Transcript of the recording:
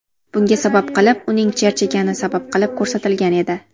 Bunga sabab qilib, uning charchagani sabab qilib ko‘rsatilgan edi .